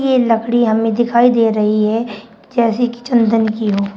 ये लकड़ी हमने दिखाई दे रही है जैसे कि चंदन की हो।